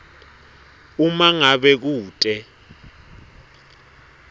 uma ngabe kute